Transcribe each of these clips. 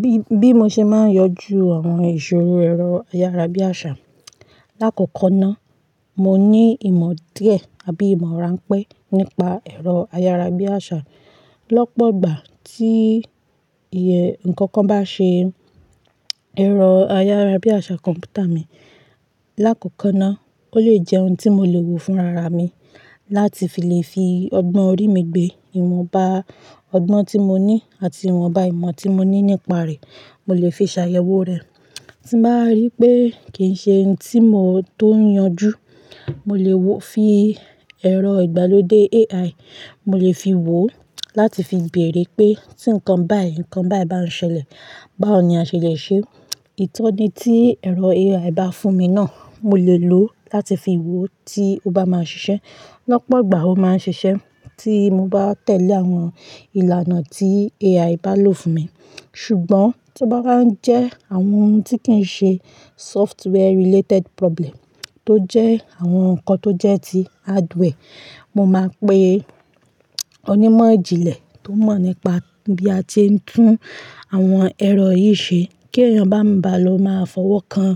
Bí, bí mo ṣe máa ń yanjú àwọn ìṣòro ẹ̀rọ ayárabíàṣá. Láàkókò náà, mo ní ìmọ̀ díẹ̀ àbí ìmọ̀ ránpẹ́ nípa ẹ̀rọ ayárabíàṣá. Lọ́pọ̀gbà tí iye nǹkankan bá ṣe ẹ̀rọ ayárabíàṣá kọ̀m̀pútà mi, láakòko náà ó lè jẹ́ ohun tí mo lè wò fún rara mi láti fi lè fi ọgbọ́n orí mi gbé ìwọ̀nbá ọgbọ́n tí mo ní àti ìwọ̀nbá ìmọ̀ tí mo ní nípa rẹ̀. Mo lè fi ṣàyẹ̀wò rẹ̀. Tí bá rí pé kì ń ṣe oun tí mòótó yanjú, mo lè wò fi ẹ̀rọ ìgbàlódé AI, mo lè fi wò ó láti fi béèrè pé tí nǹkan báyìí, nǹkan báyìí bá ń ṣẹlẹ̀, báwo ni a ṣe lè ṣe é. Ìtọ́ni tí ẹ̀rọ AI bá fún mi náà, mo lè lò ó láti fi wò tí ó bá máa ṣiṣẹ́. Lọ́pọ̀gbà ó máa ń ṣiṣẹ́ tí mo bá tẹ̀lé àwọn ìlànà tí AI bá lò fún mi. Ṣùgbọ́n tí ó bá wa jẹ́ àwọn oun tí kì ń ṣe software related problem tó jẹ́ àwọn nǹkan tó jẹ́ ti hardware, mo máa pe onímọ̀ ìjìnlẹ̀ tó mọ̀ nípa bí a ti ń tún àwọn ẹ̀rọ yìí ṣe kí èèyàn bá ń ba lọ máa fọwọ́ kan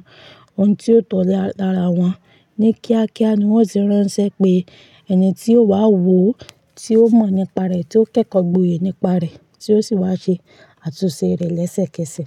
oun tí ó tọ̀ lára wọn. Ni kíákíá ni wọ́n ti ránṣẹ́ pé ẹni tí ó wà wò ó, tí ó mọ̀ nípa rẹ̀, tí ó kẹ́kọ̀ọ́ gboyè nípa rẹ̀, tí ó sì wá ṣe àtúnṣe rẹ̀ lẹ́sẹ̀kẹsẹ̀.